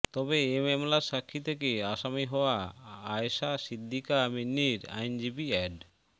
তবে এ মামলার সাক্ষী থেকে আসামি হওয়া আয়শা সিদ্দিকা মিন্নির আইনজীবী অ্যাড